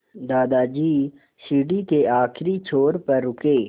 दादाजी सीढ़ी के आखिरी छोर पर रुके